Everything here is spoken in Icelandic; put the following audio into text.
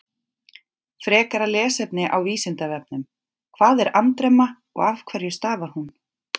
Frekara lesefni á Vísindavefnum: Hvað er andremma og af hverju stafar hún?